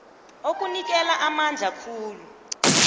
okunikela amandla khulu